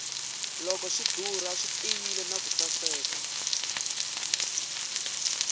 loko swi dura swi tiyile naku saseka